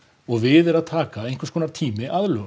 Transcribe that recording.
og við er að taka einhverskonar tími